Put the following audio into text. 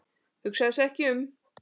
Hugsaði sig ekki um!